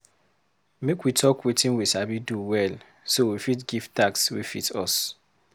Make we talk wetin we sabi do well so we fit give task wey fit us.